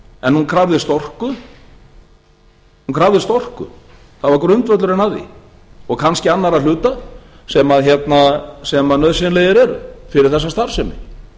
en hún krafðist orku það var grundvöllurinn að því og kannski annarra hluta sem nauðsynlegir eru fyrir þessa starfsemi